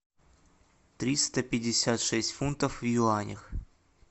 триста пятьдесят шесть фунтов в юанях